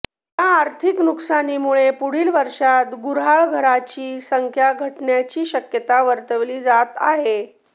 या आर्थिक नुकसानीमुळे पुढील वर्षात गुर्हाळघरांची संख्या घटण्याची शक्यता वर्तविली जात आहे